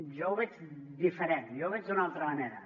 jo ho veig diferent jo ho veig d’una altra manera